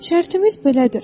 Şərtimiz belədir.